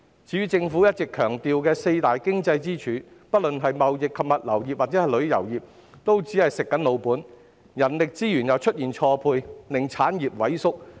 至於政府一直強調的四大經濟支柱，不論是貿易及物流業抑或旅遊業，都只是"食老本"，加上人力資源出現錯配，令產業萎縮。